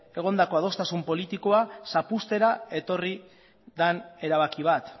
egondako adostasun politikoa zapuztera etorri den erabaki bat